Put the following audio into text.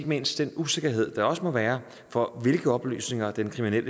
mindst den usikkerhed der også må være for hvilke oplysninger den kriminelle